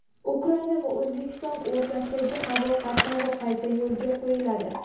Ukraina va O‘zbekiston o‘rtasidagi havo qatnovi qayta yo‘lga qo‘yiladi.